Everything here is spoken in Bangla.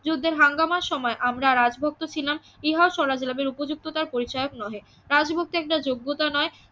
যুদ্ধের হাঙ্গামার সময় আমরা রাজভক্ত ছিলাম ইহা স্বরাজ লাভের উপযুক্ততার পরিচায়ক নহে রাজভক্তি একটা যোগ্যতা নয়